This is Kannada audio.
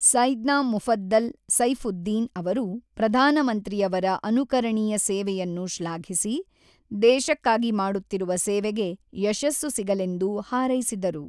ಸೈದ್ನಾ ಮುಫದ್ದಲ್ ಸೈಫುದ್ದೀನ್ ಅವರು ಪ್ರಧಾನಮಂತ್ರಿಯವರ ಅನುಕರಣೀಯ ಸೇವೆಯನ್ನು ಶ್ಲಾಘಿಸಿ, ದೇಶಕ್ಕಾಗಿ ಮಾಡುತ್ತಿರುವ ಸೇವೆಗೆ ಯಶಸ್ಸು ಸಿಗಲೆಂದು ಹಾರೈಸಿದರು.